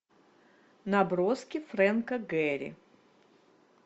наброски фрэнка гэри